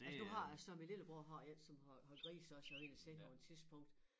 Altså nu har jeg så min lillebror har én som har har grise også jeg var inde og se ham på et tidspunkt